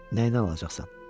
Nəyinə alacaqsan?